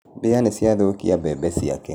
Mbĩa nĩ ciathũkia mbembe ciake.